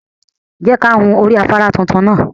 Je ka hun ori afara titun naa